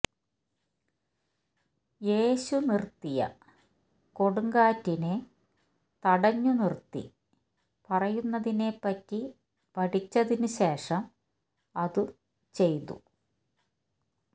യേശു നിർത്തിയ കൊടുങ്കാറ്റിനെ തടഞ്ഞു നിർത്തി പറയുന്നതിനെപ്പറ്റി പഠിച്ചതിനുശേഷം അത് ചെയ്തു